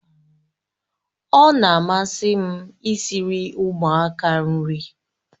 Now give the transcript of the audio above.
Ọ na-amasị m i siri ụmụaka nri